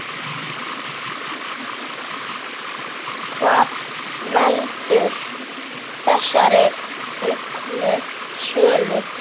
Hvað veldur þessari auknu sölu?